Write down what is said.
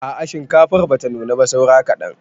A'a shinkafar bata nuna ba saura kaɗan.